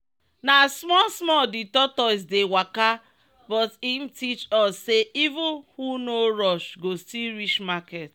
na small small the tortoise dey waka but im teach us say even who no rush go still reach market.